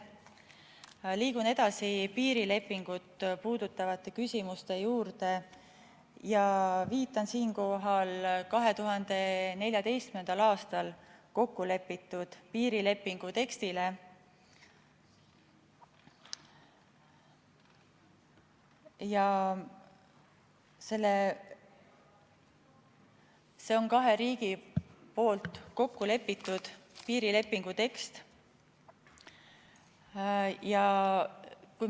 Liigun edasi piirilepingut puudutavate küsimuste juurde ja viitan siinkohal 2014. aastal kokku lepitud piirilepingu tekstile, see on kahe riigi vahel kokku lepitud piirilepingu tekst.